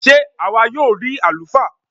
Sé àwa yóò rí àlùfáà?